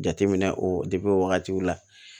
Jateminɛ o wagatiw la